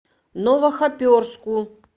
новохоперску